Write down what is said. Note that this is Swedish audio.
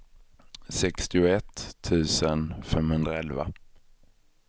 sextioett tusen femhundraelva